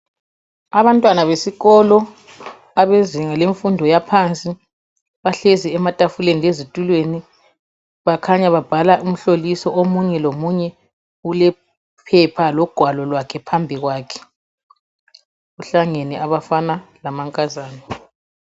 Abantwana besikolo abezinga lemfundo yaphansi bahlezi ematafuleni lezitulweni, bakhanya babhala umhloliso omunye lomunye ulephepha logwalo lwakhe phambili kwakhe kuhlangene abafana lamankazana.